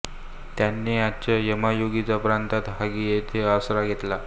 त्यांनी आजच्या यामागुची प्रांतात हगी येथे आसरा घेतला